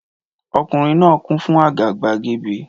Ọkùnrin náà kún fún àgàbàgebè